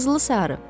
Qızılı-sarı.